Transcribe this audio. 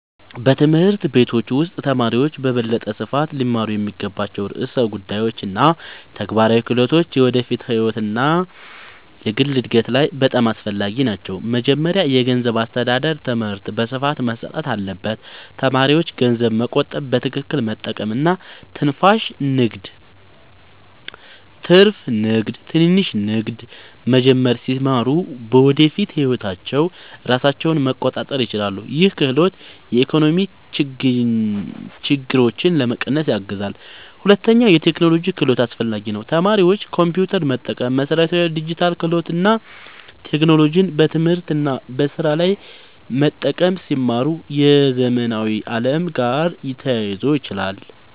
በትምህርት ቤቶች ውስጥ ተማሪዎች በበለጠ ስፋት ሊማሩ የሚገባቸው ርዕሰ ጉዳዮች እና ተግባራዊ ክህሎቶች የወደፊት ህይወት እና የግል እድገት ላይ በጣም አስፈላጊ ናቸው። መጀመሪያ የገንዘብ አስተዳደር ትምህርት በስፋት መሰጠት አለበት። ተማሪዎች ገንዘብ መቆጠብ፣ በትክክል መጠቀም እና ትንሽ ንግድ መጀመር ሲማሩ በወደፊት ህይወታቸው ራሳቸውን መቆጣጠር ይችላሉ። ይህ ክህሎት የኢኮኖሚ ችግኝትን ለመቀነስ ያግዛል። ሁለተኛ የቴክኖሎጂ ክህሎት አስፈላጊ ነው። ተማሪዎች ኮምፒውተር መጠቀም፣ መሠረታዊ ዲጂታል ክህሎት እና ቴክኖሎጂን በትምህርት እና በስራ ላይ መጠቀም ሲማሩ የዘመናዊ ዓለም ጋር ተያይዞ ይችላሉ።